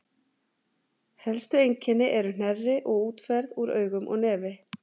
helstu einkennin eru hnerri og útferð úr augum og nefi